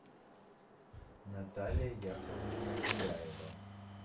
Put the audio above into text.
наталья яковлевна гуляева